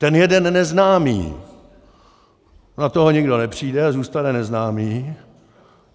Ten jeden neznámý, na toho nikdo nepřijde a zůstane neznámý.